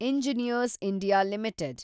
engineers India limited